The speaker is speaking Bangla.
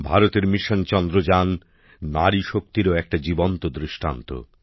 ভারতের মিশন চন্দ্রযান নারীশক্তিরও একটি জীবন্ত দৃষ্টান্ত